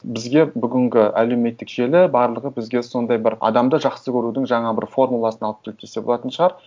бізге бүгінгі әлеуметтік желі барлығы бізге сондай бір адамды жақсы көрудің жаңа бір формуласын алып келді десе болатын шығар